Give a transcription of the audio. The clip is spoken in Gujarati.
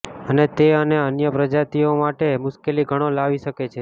અને તે અને અન્ય પ્રજાતિઓ માટે મુશ્કેલી ઘણો લાવી શકે છે